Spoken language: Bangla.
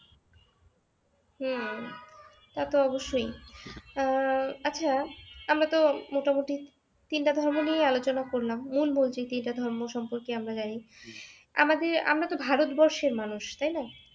হম তা তো অবশ্যই আহ আচ্ছা আমরা তো মোটামোটি তিনটা ধর্ম নিয়েই আলোচনা করলাম মূল মূল যে তিনটা ধর্ম সম্পর্কে আমরা জানি । আমাদের আমরা তো ভারতবর্ষের মানুষ তাইনা